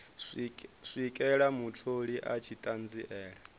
swikela mutholi a tshi ṱanziela